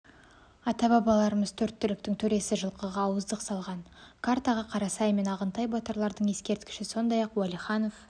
ата-бабаларымыз төрт түліктің төресі жылқыға ауыздық салған картаға қарасай мен ағынтай батырлардың ескерткіші сондай-ақ уәлиханов